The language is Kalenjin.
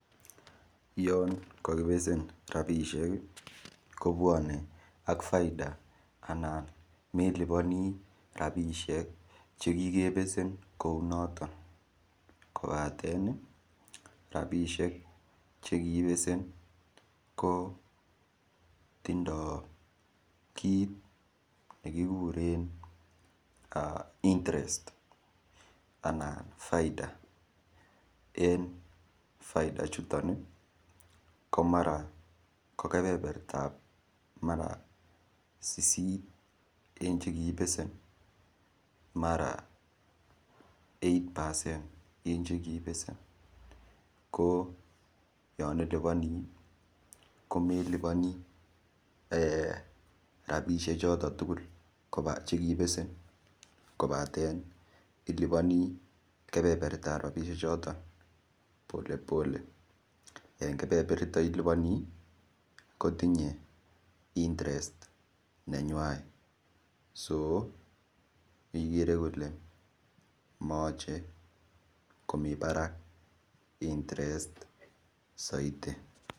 Yon kakibesen ropishek kobuone ak faida anan melipani rapishek che kikebesen kou noton kobaten ropisiek chekibesen kotindoi kiit nekikuren interest ana faida en faida chuton mara ko kebebertap mara sisit eng cheki besen mara eigtht percent eng chekibesen ko ye ilipani komelipani rapishek choto tukul chekibesen kobaten ilipani kebeberta rapishek choton polepolenb eng iliponi kotinyei interest nenywanet igere kole mayochei komi barak interest soiti.